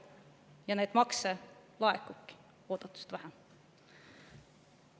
Ja makse laekubki oodatust vähem.